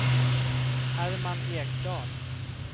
Herman Ekdahl